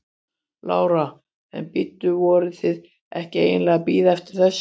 Lára: En bíddu, voruð þið ekki eiginlega að bíða eftir þessu?